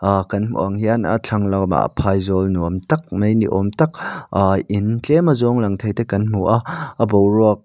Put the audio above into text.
aa kan hmuh ang hian a thlang la awmah phaizawl nuam tak mai ni awm tak aa in tlem azawng lang theite kan hmu a a boruak --